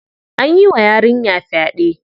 An yi wa yarinya fyaɗe.